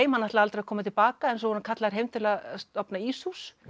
hann ætlaði aldrei að koma til baka en svo var hann kallaður heim til að stofna íshús